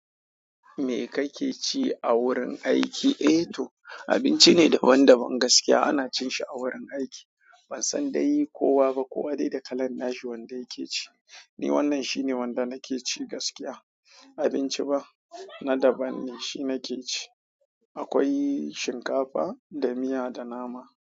Me kake ci a wurin aiki? Eh to, abinci ne daban-daban gaskiya. Ana cin shi a wurin aiki. Ban san dai kowa ba. Kowa dai da kalan nashi wanda yake ci. Ni wannan shine wanda nake ci gaskiya. Abinci ba, na daban ne. Shi nake ci. Akwai shinkafa da miya da nama.